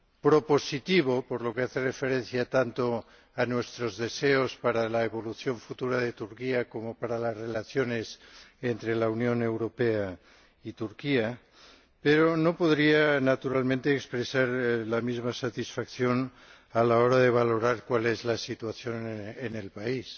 propositivo, en la medida en que hace referencia a nuestros deseos tanto para la evolución futura de Turquía como para las relaciones entre la Unión Europea y Turquía. Pero no puedo naturalmente expresar la misma satisfacción a la hora de valorar cuál es la situación en el país.